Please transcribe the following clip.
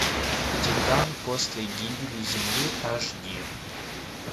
титан после гибели земли аш ди